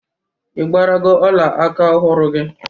Ị gbarago ọla aka ọhụrụ gị?